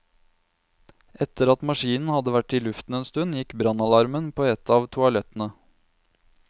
Etter at maskinen hadde vært i luften en stund, gikk brannalarmen på et av toalettene.